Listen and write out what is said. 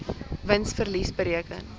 wins verlies bereken